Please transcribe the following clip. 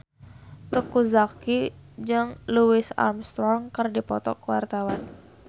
Teuku Zacky jeung Louis Armstrong keur dipoto ku wartawan